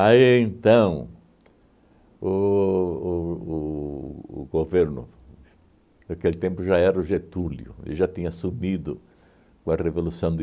então, o o o o governo, naquele tempo já era o Getúlio, ele já tinha sumido com a Revolução de